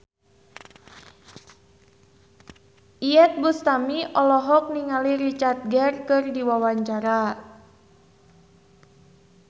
Iyeth Bustami olohok ningali Richard Gere keur diwawancara